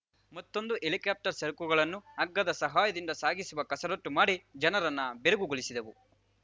ಮತ್ತೊಂದು ಹೆಲಿಕಾಪ್ಟರ್‌ ಸರಕುಗಳನ್ನು ಹಗ್ಗದ ಸಹಾಯದಿಂದ ಸಾಗಿಸುವ ಕಸರತ್ತು ಮಾಡಿ ಜನರನ್ನ ಬೆರಗುಗೊಳಿಸಿದವು